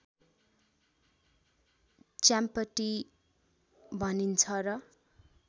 च्याम्पटी भनिन्छ र